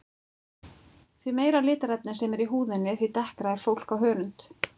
Því meira litarefni sem er í húðinni því dekkra er fólk á hörund.